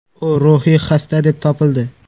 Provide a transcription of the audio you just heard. U ruhiy xasta deb topildi.